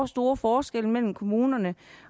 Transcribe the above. store forskelle mellem kommunerne